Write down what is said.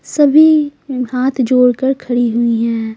सभी आ हाथ जोड़कर खड़ी हुई हैं।